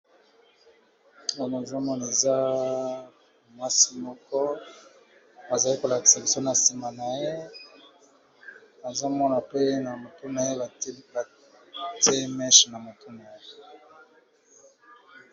ono azomoneza mwasi moko bazali kolakisa biso na nsima na ye azomona pe na motu na ye batieliye meche na motu na ye